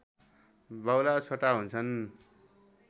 बाहुला छोटा हुन्छन्